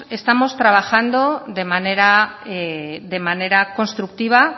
estamos trabajando de manera constructiva